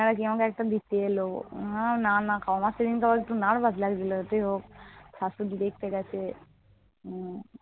কেউ আমাকে একটা দেখতে এলো। আমার সেদিনকে আবার একটু nervous লাগছিল। যাইহোক, শাশুড়ি দেখতে গেছে।